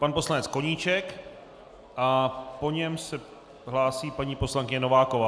Pan poslanec Koníček a po něm se hlásí paní poslankyně Nováková.